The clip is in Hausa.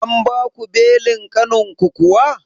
An baku belin ƙanin ku kuwa?